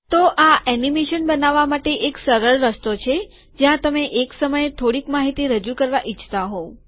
તો આ એનિમેશન બનાવવા માટે એક સરળ રસ્તો છે જ્યાં તમે એક સમયે થોડીક માહિતી રજૂ કરવા ઈચ્છતા હોવ